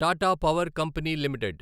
Tata power company limited